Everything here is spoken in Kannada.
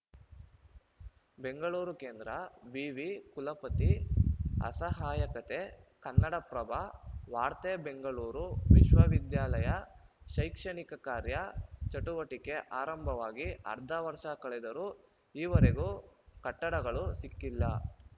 ಬೆಂಗಳೂರು ಕೇಂದ್ರ ವಿವಿ ಕುಲಪತಿ ಅಸಹಾಯಕತೆ ಕನ್ನಡಪ್ರಭ ವಾರ್ತೆ ಬೆಂಗಳೂರು ವಿಶ್ವವಿದ್ಯಾಲಯ ಶೈಕ್ಷಣಿಕ ಕಾರ್ಯ ಚಟುವಟಿಕೆ ಆರಂಭವಾಗಿ ಅರ್ಧ ವರ್ಷ ಕಳೆದರೂ ಈವರೆಗು ಕಟ್ಟಡಗಳು ಸಿಕ್ಕಿಲ್ಲ